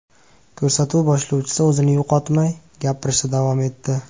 Ko‘rsatuv boshlovchisi o‘zini yo‘qotmay, gapirishda davom etdi .